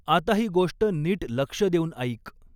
आता ही गोष्ट नीट लक्ष देऊन ऐक.